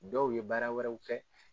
Dɔw ye baara wɛrɛw kɛ